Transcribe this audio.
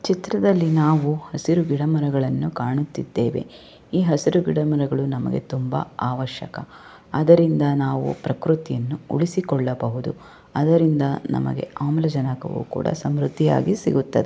ಚಿತ್ರದಲ್ಲಿ ನಾವು ಹಸಿರು ಗಿಡ ಮರಗಳನ್ನು ಕಾಣುತ್ತಿದ್ದೇವೆ ಈ ಹಸಿರು ಗಿಡಮರಗಳು ನಮಗೆ ತುಂಬಾ ಆವಶ್ಯಕ ಅದರಿಂದ ನಾವು ಪ್ರಕೃತಿಯನ್ನು ಉಳಿಸಿಕೊಳ್ಳಬಹುದು ಅದರಿಂದ ನಮಗೆ ಆಮ್ಲಜನಕವು ಕೂಡ ಸಮೃದ್ಧಿಯಾಗಿ ಸಿಗುತ್ತದೆ.